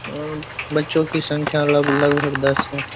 अ बच्चो की संख्या लगभग दस है।